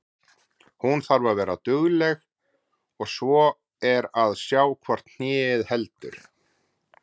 Hún þarf að vera dugleg og svo er að sjá hvort hnéð heldur.